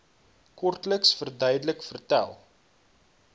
kortliks verduidelik vertel